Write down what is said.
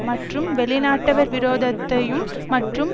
மற்றும் வெளிநாட்டவர் விரோதத்தையும் மற்றும்